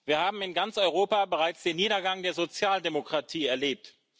Wir haben in ganz Europa bereits den Niedergang der Sozialdemokratie erlebt.